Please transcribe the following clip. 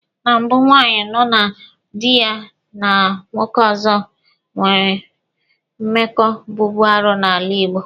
Na mbụ, nwaanyị nọ na dị ya na nwoke ọzọ nwere mmekọ bụbu arụ n'ala Igbo.